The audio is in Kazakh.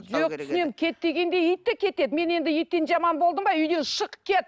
кет дегенде ит те кетеді мен енді иттен жаман болдым ба үйден шық кет